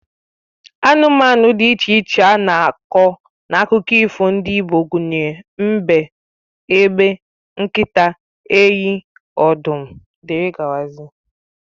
Anụmanụ dị iche iche a na-akọ n'akụkọ ifo ndị Igbo gụnyere mbe, egbe, nkịta, enyi, ọdụm, dgz